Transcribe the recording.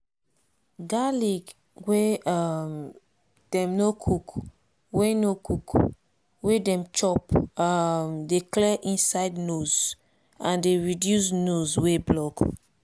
garlic wey um dem no cook wey no cook wey dem chop um dey clear inside nose and dey reduce nose wey block.